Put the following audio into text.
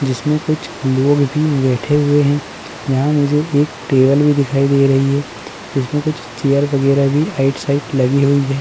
जिसमें कुछ लोग भी बैठे हुए हैं। यहाँ मुझे एक टेबल भी दिखाई दे रही है। इसमें कुछ चेयर वगैरह भी आइट-साइट लगी हुयी हैं।